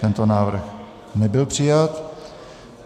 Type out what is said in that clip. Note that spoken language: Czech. Tento návrh nebyl přijat.